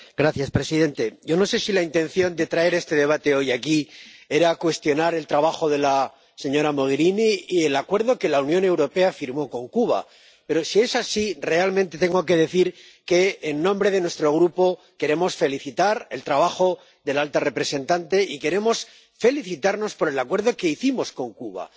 Señor presidente, yo no sé si la intención de traer este debate hoy aquí era cuestionar el trabajo de la señora Mogherini y el Acuerdo que la Unión Europea firmó con Cuba, pero, si es así, realmente tengo que decir, en nombre de nuestro Grupo, que queremos felicitar a la alta representante por su trabajo y queremos felicitarnos por el Acuerdo que hicimos con Cuba.